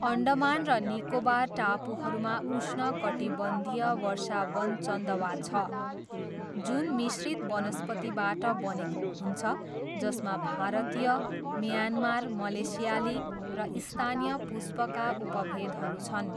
अन्डमान र निकोबार टापुहरूमा उष्णकटिबन्धीय वर्षावन चन्दवा छ, जुन मिश्रित वनस्पतिबाट बनेको हुन्छ जसमा भारतीय, म्यानमार, मलेसियाली र स्थानीय पुष्पका उपभेदहरू छन्।